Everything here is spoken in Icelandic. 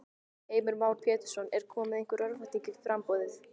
Heimir Már Pétursson: Er komin einhver örvænting í í framboðið?